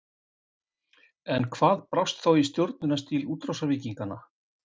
En hvað brast þá í stjórnunarstíl útrásarvíkinganna?